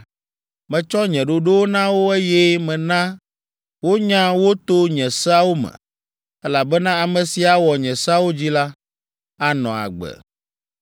Metsɔ nye ɖoɖowo na wo, eye mena wonya wo to nye seawo me, elabena ame si awɔ nye seawo dzi la, anɔ agbe.